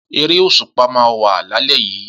Eré òṣùpá máa wà lálé yíí